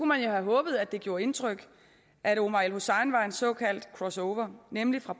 man jo have håbet at det gjorde indtryk at omar el hussein var en såkaldt cross over nemlig fra